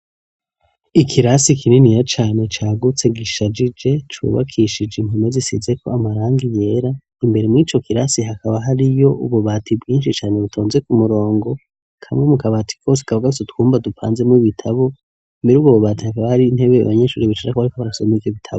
Ikirasi kininiya cane cagutse gishajije cubakishije impome zisize ko amarangi yera imbere mwico kirasi hakaba hari yo ububati bwinshi cane butonze ku murongo kamwe mu kabati kose kaba gafise utwumba dupanze mu ibitabo muri ubwo bubati hakaba hari intebe abanyeshuri bicara ko bariko barasoma bitabo.